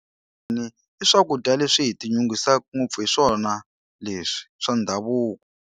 I swakudya leswi hi tinyungubyisaka ngopfu hi swona leswi swa ndhavuko.